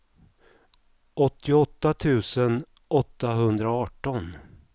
åttioåtta tusen åttahundraarton